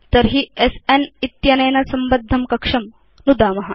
तर्हि स्न इत्यनेन संबद्धं कक्षं नुदाम